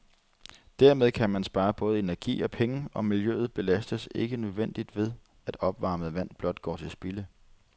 Dermed kan man spare både energi og penge, og miljøet belastes ikke unødigt ved, at opvarmet vand blot går til spilde.